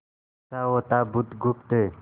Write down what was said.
अच्छा होता बुधगुप्त